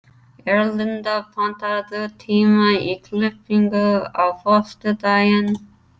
Erlinda, pantaðu tíma í klippingu á föstudaginn.